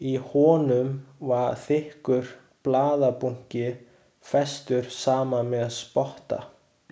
Í honum var þykkur blaðabunki, festur saman með spotta.